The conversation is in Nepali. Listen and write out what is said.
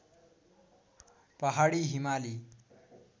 पहाडी हिमाली